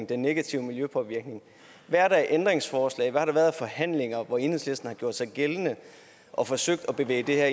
den negative miljøpåvirkning hvad er der af ændringsforslag og hvad har der været af forhandlinger hvor enhedslisten har gjort sig gældende og forsøgt at bevæge det her